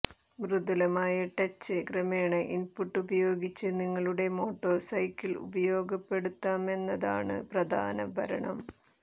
മൃദുലമായ touch ക്രമേണ input ഉപയോഗിച്ച് നിങ്ങളുടെ മോട്ടോർസൈക്കിൾ ഉപയോഗപ്പെടുത്താമെന്നതാണ് പ്രധാന ഭരണം